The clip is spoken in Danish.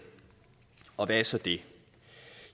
og hvad er så det